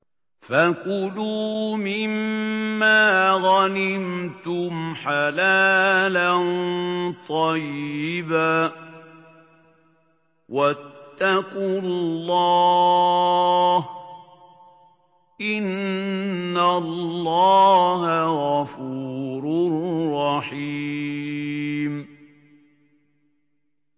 فَكُلُوا مِمَّا غَنِمْتُمْ حَلَالًا طَيِّبًا ۚ وَاتَّقُوا اللَّهَ ۚ إِنَّ اللَّهَ غَفُورٌ رَّحِيمٌ